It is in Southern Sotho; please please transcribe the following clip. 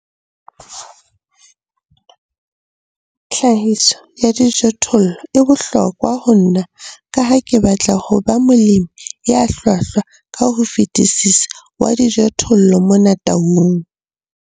Tlhahiso ya dijothollo e bohlokwa ho nna ka ha ke batla ho ba molemi ya hlwahlwa ka ho fetisisa wa dijothollo mona Taung.